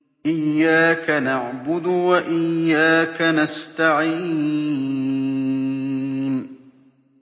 إِيَّاكَ نَعْبُدُ وَإِيَّاكَ نَسْتَعِينُ